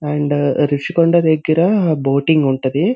And Rushikonda దెగ్గర boating ఉంటది.